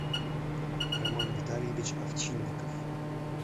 роман витальевич овчинников